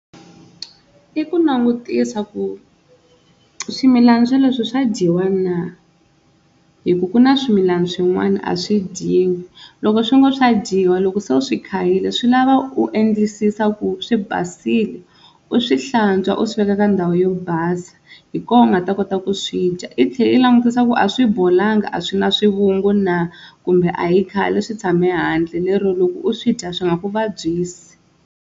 I ku langutisa ku swimilana swoleswo swa dyiwa na, hi ku ku na swimilana swin'wana a swi dyiwi loko swi ngo swa dyiwa loko se u swi khayile swi lava u endlisisa ku swi basile, u swi hlantswa u swi veka ka ndhawu yo basa, hi kona u nga ta kota ku swi dya i tlhela i langutisa ku a swi bolanga a swi na swivungu na kumbe a hi khale swi tshame handle lero loko u swi dya swi nga ku vabyisi.